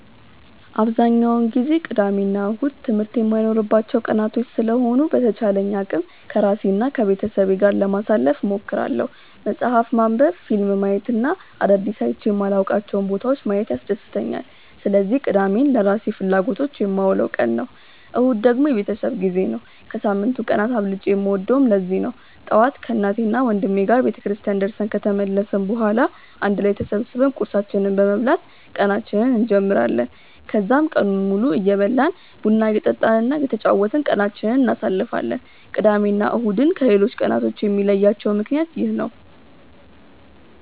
አብዛኛውን ጊዜ ቅዳሜ እና እሁድ ትምህርት የማይኖርባቸው ቀናቶች ስለሆኑ በተቻለኝ አቅም ከራሴ እና ከቤተሰቤ ጋር ጊዜ ለማሳለፍ እሞክራለሁ። መፅሀፍ ማንበብ፣ ፊልም ማየት እና አዳዲስ አይቼ የማላውቃቸውን ቦታዎች ማየት ያስደስተኛል። ስለዚህ ቅዳሜን ለራሴ ፍላጎቶች የማውለው ቀን ነው። እሁድ ደግሞ የቤተሰብ ጊዜ ነው። ከሳምንቱ ቀናት አብልጬ የምወደውም ለዚህ ነው። ጠዋት ከእናቴና ወንድሜ ጋር ቤተክርስቲያን ደርሰን ከተመለስን በኋላ አንድ ላይ ተሰብስበን ቁርሳችንን በመብላት ቀናችንን እንጀምራለን። ከዛም ቀኑን ሙሉ እየበላን፣ ቡና እየጠጣን እና እየተጫወትን ቀናችንን እናሳልፋለን። ቅዳሜ እና እሁድን ከሌሎቹ ቀናቶች የሚለያቸው ምክንያት ይህ ነው።